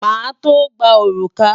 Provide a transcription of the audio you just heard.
Màá tó gba òrùka.